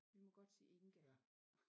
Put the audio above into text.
Vi må godt sige Inga